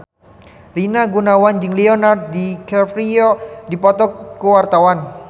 Rina Gunawan jeung Leonardo DiCaprio keur dipoto ku wartawan